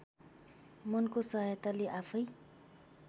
मनको सहायताले आफैँ